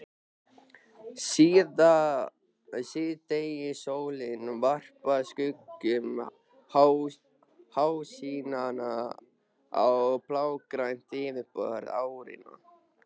Síðdegissólin varpar skuggum háhýsanna á blágrænt yfirborð árinnar.